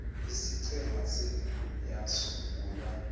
isiqhema senu yasungulwa